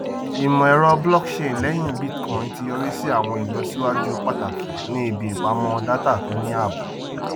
ìmọ ẹrọ blockchain lẹyìn bitcoin ti yọrí sí àwọn ìlọsíwájú pàtàkì ní ibi ìpamọ data tó ní ààbò